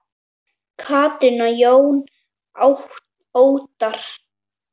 Katrín og Jón Óttarr.